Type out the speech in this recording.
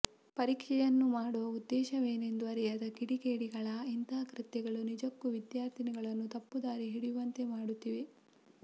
ಪರೀಕ್ಷೆಯನ್ನು ಮಾಡುವ ಉದ್ದೇಶವೇನೆಂದು ಅರಿಯದ ಕಿಡಿಗೇಡಿಗಳ ಇಂತಹ ಕೃತ್ಯಗಳು ನಿಜಕ್ಕೂ ವಿದ್ಯಾರ್ಥಿಗಳನ್ನು ತಪ್ಪು ದಾರಿ ಹಿಡಿಯುವಂತೆ ಮಾಡುತ್ತಿವೆ